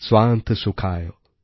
স্বান্তঃ সুখায়ঃ